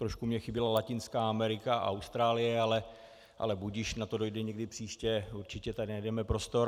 Trochu mi chyběla Latinská Amerika a Austrálie, ale budiž, na to dojde někdy příště, určitě tady najdeme prostor.